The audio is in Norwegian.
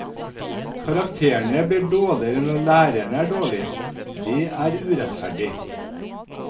Karakterene blir dårligere når læreren er dårlig, det er urettferdig.